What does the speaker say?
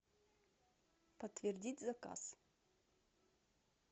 подтвердить заказ